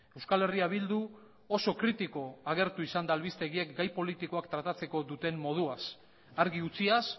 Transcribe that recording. euskal herria bildu oso kritiko agertu izan da albistegiek gai politikoak tratatzeko duten moduaz argi utziaz